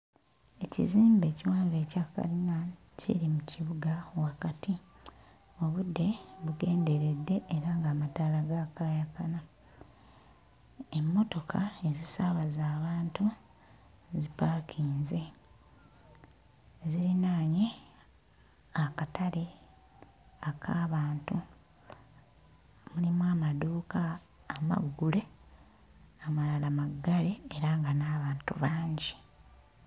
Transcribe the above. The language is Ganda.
Ekizimbe ekiwanvu ekya kkalina kiri mu kibuga wakati, obudde bugenderedde era ng'amataala gaakaayakana, emmotoka ezisaabaza abantu zipaakinze zirinaanye akatale ak'abantu, mulimu amaduuka amaggule amalala maggale era nga n'abantu bangi.